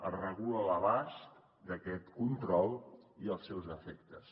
es regula l’abast d’aquest control i els seus efectes